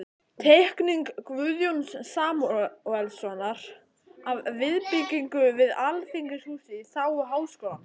Teikning Guðjóns Samúelssonar af viðbyggingu við Alþingishúsið í þágu Háskólans.